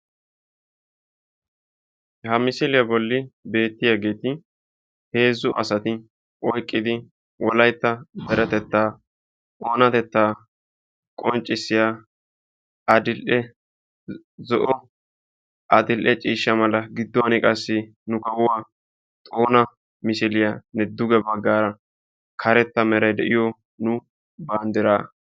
Ha misiliya boli beetiyaageeti hezzu asti oyqqidi wolaytta deretettaa oonatettaa qonccissiya adil'e zo'o adil'e ciishsa mala giduwani qassi nu kawuwa xoona miosiliya be'oos.